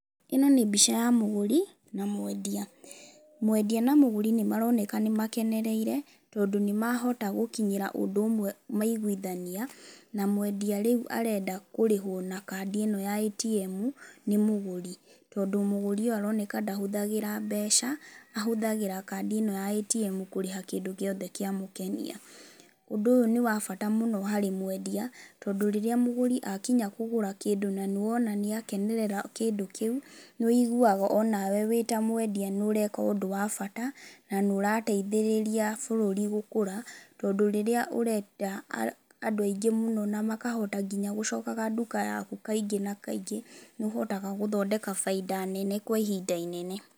ĩno nĩ mbica ya mũgũri na mwendia, mwendia na mũgũri nĩmaroneka nĩmakenereire tondũ nĩmahota gũkinyĩrĩra ũndũ ũmwe na maiguithania na mwendia rĩu arenda kũrĩhwo rĩu na kadi ĩno ya ATM nĩ mũgũri, tondũ mũgũri ũyũ aroneka ndahũthagĩra mbeca ahũthagĩra lkadi ĩno ya ATM kũrĩha kĩndũ gĩothe kĩamũkenia ũndũ ũyũ ni wa bata mũno harĩ mwendia tondũ rĩrĩa mũgũri akinya kũgũra kĩndũ na nĩũrona nĩakenerera kĩndũ kĩu nĩũiguaga onawe wĩta mwendia nĩũreka ũndũ wa bata na nĩũrateithĩrĩria bũrũri gũkũra tondũ rĩrĩa ũreta andũ aingĩ mũno na makahota nginya gũcoka nduka yaku kaingĩ na kaingĩ nĩ ũhotaga gũthondeka baida nene kwa ihinda inene.